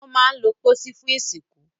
Wọ́n máa ń lo pósí fún ìsìnkú.